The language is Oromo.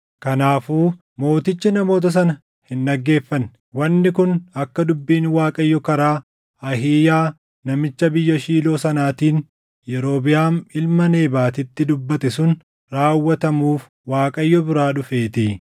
Kanaafuu mootichi namoota sana hin dhaggeeffanne; wanni kun akka dubbiin Waaqayyo karaa Ahiiyaa namicha biyya Shiiloo sanaatiin Yerobiʼaam ilma Nebaatitti dubbate sun raawwatamuuf Waaqayyo biraa dhufeetii.